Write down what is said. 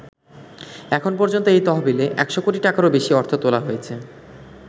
এখন পর্যন্ত এই তহবিলে ১০০ কোটি টাকারও বেশি অর্থ তোলা হয়েছে।